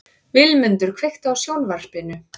Vilmundur, kveiktu á sjónvarpinu.